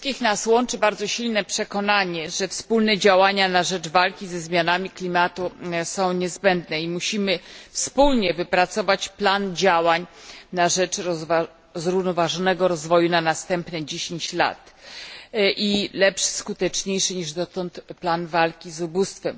Wszystkich nas łączy bardzo silne przekonanie, że wspólne działania na rzecz walki ze zmianami klimatu są niezbędne i musimy wspólnie wypracować plan działań na rzecz zrównoważonego rozwoju na następne 10 lat i lepszy, skuteczniejszy niż dotąd, plan walki z ubóstwem.